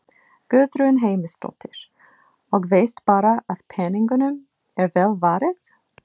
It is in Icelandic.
Guðrún Heimisdóttir: Og veist bara að peningunum er vel varið?